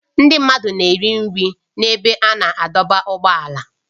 Ndị mmadụ na-ere nri n'ebe a na-adọba ụgbọala